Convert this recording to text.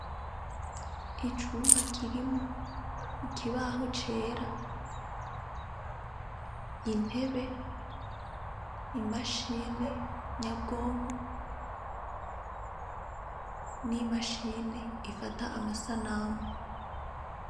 Icumba kirimwo ikibaho cera, intebe, imashine nyabwonko n'imashine ifata amasanamu.